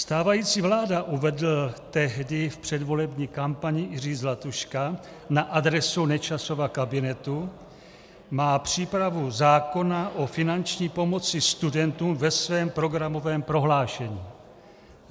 "Stávající vláda," uvedl tehdy v předvolební kampani Jiří Zlatuška na adresu Nečasova kabinetu, "má přípravu zákona o finanční pomoci studentům ve svém programovém prohlášení.